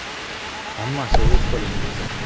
Hammasi o‘z qo‘lingizda.